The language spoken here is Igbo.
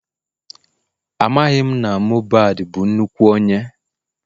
Amaghị m na Mohbad bụ nnukwu onye